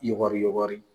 Yɔgɔri yɔgɔri